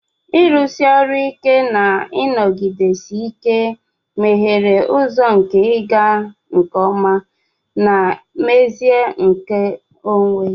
Ịrụsi ọrụ ike na nnọgidesi ike meghere ụzọ nke ịga nke ọma na mmezu nke onwe.